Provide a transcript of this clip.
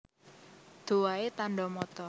Doea Tanda Mata